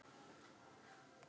Þetta er altso stutta svarið.